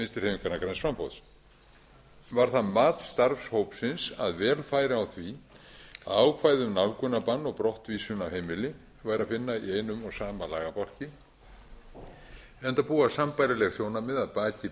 vinstri hreyfingarinnar græns framboðs var það mat starfshópsins að vel færi á því að ákvæði um nálgunarbann og brottvísun af heimili væri að finna í einum og sama lagabálki enda búa sambærileg sjónarmið að baki